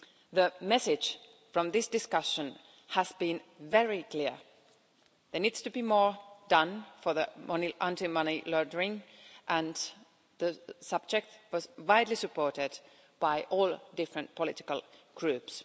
The message from this discussion has been very clear there needs to be more done for anti money laundering and the subject was widely supported by all the different political groups.